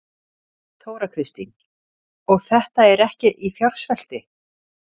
Þóra Kristín: Og þetta er ekki í fjársvelti?